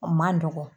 O man nɔgɔn